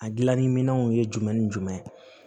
A gilanni minɛnw ye jumɛn ni jumɛn ye